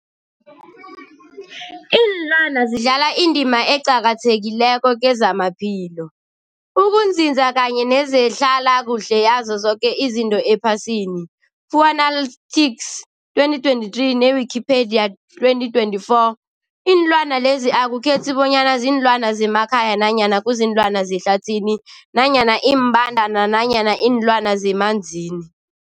Ilwana zidlala indima eqakathekileko kezamaphilo, ukunzinza kanye nezehlala kuhle yazo zoke izinto ephasini, Fuanalytics 2023, ne-Wikipedia 2024. Iinlwana lezi akukhethi bonyana ziinlwana zemakhaya nanyana kuziinlwana zehlathini nanyana iimbandana nanyana iinlwana zemanzini.